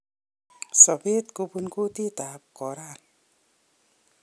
Sobet kobun kuutikab korona.